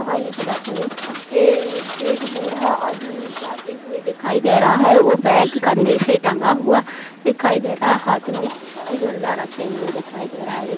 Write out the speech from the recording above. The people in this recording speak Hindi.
यहाँ इस बस मे ए -एक बूढ़ा आदमी जाते हुए दिखाई दे रहा है ओ बैग कंधे से टंगा हुआ दिखाई दे रहा हाथ में झोला रखे हुए देखाई दे रहा ए--